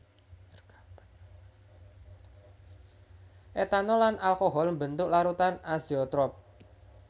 Etanol lan alkohol mbentuk larutan azeotrop